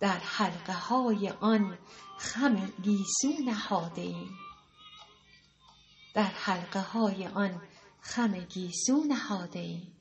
در حلقه های آن خم گیسو نهاده ایم